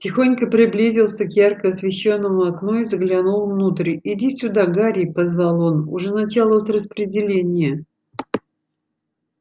тихонько приблизился к ярко освещённому окну и заглянул внутрь иди сюда гарри позвал он уже началось распределение